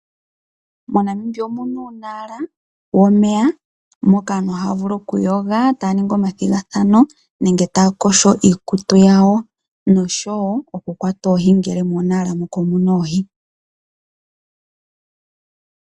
MoNamibia omu na uunala womeya moka aantu haya vulu okuyoga taya ningi omathigathano nenge taya yogo iikutu yawo nosho wo okukwata oohi ngele muunala muka omu na oohi.